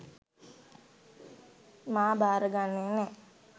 මා භාර ගන්නෙ නෑ.